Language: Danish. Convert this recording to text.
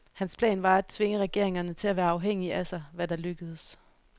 Hans plan var at tvinge regeringerne til at være afhængige af sig, hvad der lykkedes.